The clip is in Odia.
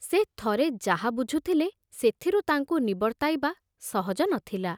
ସେ ଥରେ ଯାହା ବୁଝୁଥିଲେ ସେଥିରୁ ତାଙ୍କୁ ନିବର୍ତ୍ତାଇବା ସହଜ ନ ଥିଲା।